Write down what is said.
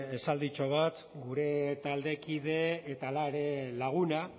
esalditxo bat gure taldekide eta hala ere laguna